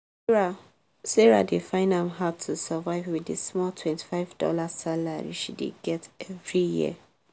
sarah dey find am hard to survive with di small twenty dollar salary she dey get every year.